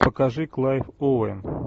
покажи клайв оуэн